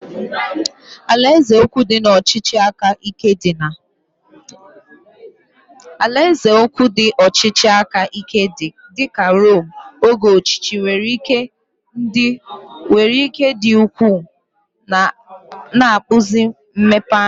Alaeze ukwu ndị ọchịchị aka ike dị ka Rome oge ochie nwere ike dị ukwuu, na-akpụzi mmepeanya.